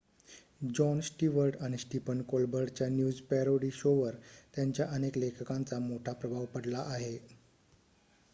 John Stewart आणि Stephen कोलबर्टच्या news parody शोवर त्यांच्या अनेक लेखकांचा मोठा प्रभाव पडला आहे